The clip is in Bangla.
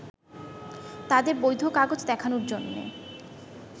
তাদের বৈধ কাগজ দেখানোর জন্য